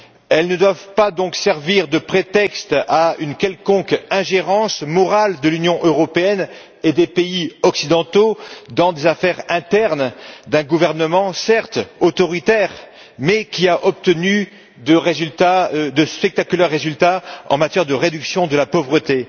Elles ne doivent donc pas servir de prétexte à une quelconque ingérence morale de l'Union européenne et des pays occidentaux dans des affaires internes d'un gouvernement certes autoritaire, mais qui a obtenu de spectaculaires résultats en matière de réduction de la pauvreté.